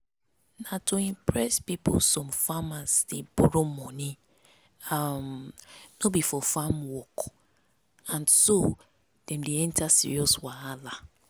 na to impress people some farmers dey borrow moni um no be for farm work and na so dem enter serious wahala.